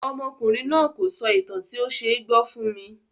Ọmọkùnrin náà kò sọ ìtàn tí ó ṣe gbọ́ fún mi.